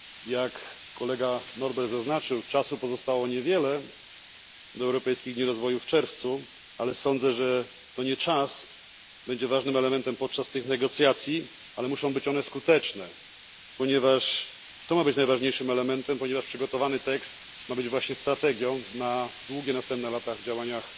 Jak kolega Norbert zaznaczył, czasu pozostało niewiele do Europejskich Dni Rozwoju w czerwcu, ale sądzę, że to nie czas będzie ważnym elementem podczas tych negocjacji, ale muszą być one skuteczne, ponieważ to ma być najważniejszym elementem, ponieważ przygotowany tekst ma być właśnie strategią na długie następne lata w działaniach